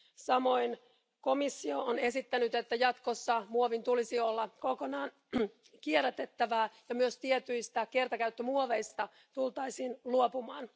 Samoin komissio on esittänyt, että jatkossa muovin tulisi olla kokonaan kierrätettävää ja myös tietyistä kertakäyttömuoveista tultaisiin luopumaan.